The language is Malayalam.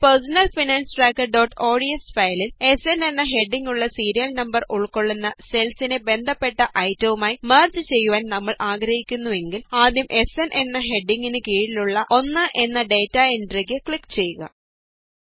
നമ്മുടെ പേര്സണല് ഫിനാന്സ് ട്രാക്കര്ods ഫയലില് സ്ന് എന്ന ഹെഡിംഗ് ഉള്ള സീരിയല് നമ്പര് ഉള്ക്കൊള്ളുന്ന സെല്സിനെ ബന്ധപ്പെട്ട ഐറ്റവുമായി മെര്ജ് ചെയ്യുവാന് നമ്മള് ആഗ്രഹിക്കുന്നുവെങ്കില് ആദ്യം സ്ന് എന്ന ഹെഡിംഗിന് കീഴിലുള്ള 1 എന്ന ഡേറ്റാ എന്ട്രിയില് ക്ലിക് ചെയ്യുക